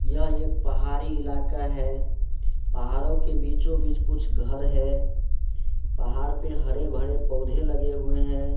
यह एक पहाड़ी इलाका है पहाड़ों के बीचो बीच कुछ घर है पहाड़ पे हरे भरे पौधे लगे हुए है।